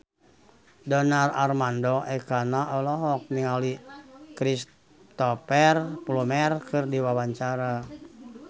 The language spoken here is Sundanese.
Donar Armando Ekana olohok ningali Cristhoper Plumer keur diwawancara